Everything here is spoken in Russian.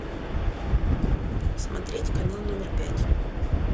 смотреть канал номер пять